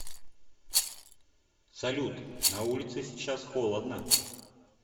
салют на улице сейчас холодно